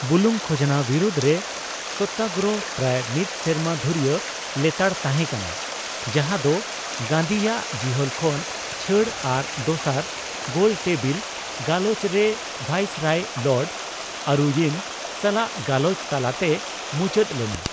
ᱵᱩᱞᱩᱝ ᱠᱷᱡᱱᱟ ᱵᱤᱨᱩᱫᱨᱮ ᱥᱚᱛᱟᱨᱚᱦᱚ ᱯᱨᱟᱭ ᱢᱤᱫ ᱥᱮᱨᱢᱟ ᱫᱷᱩᱨᱭᱟᱹ ᱞᱮᱛᱟᱲ ᱛᱟᱦᱮᱸ ᱠᱟᱱᱟ, ᱡᱟᱦᱟᱫᱚ ᱜᱟᱹᱱᱫᱷᱤᱭᱟᱜ ᱡᱤᱦᱚᱞ ᱠᱷᱚᱱ ᱪᱷᱟᱹᱲ ᱟᱨ ᱫᱚᱥᱟᱨ ᱜᱳᱞᱴᱮᱵᱤᱞ ᱜᱟᱞᱚᱪ ᱨᱮ ᱵᱷᱟᱭᱤᱥᱚᱨᱚᱭ ᱞᱚᱨᱰ ᱟᱨᱩᱭᱤᱱ ᱥᱟᱞᱟᱜ ᱜᱟᱞᱚᱪ ᱛᱟᱞᱟᱛᱮ ᱢᱩᱪᱟᱹᱫ ᱞᱮᱱᱟ ᱾